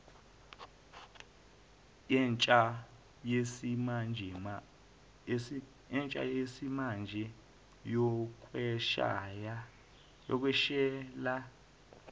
yentsha yesimanje yokweshela